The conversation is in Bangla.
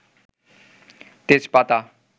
তেজপাতা